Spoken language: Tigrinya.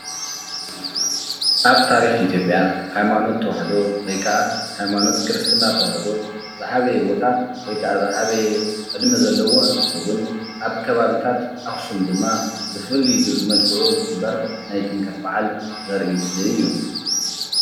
ኣብ ታሪክ ኢትዮጵያ ሃይማኖት ተዋህዶ ወይ ከዓ ሃይማኖት ክርስትና ተዋህዶ ዝዓበየ ቦታ ወይ ከዓ ዝዓበየ ዕድመ ዘለዎ እንትኸውን ኣብ ከባቢታት ኣኽሱም ድማ ብፍሉይ መልክዑ ዝኽበር ናይ ጥምቀት በዓል ዘርኢ ምስሊ እዩ፡፡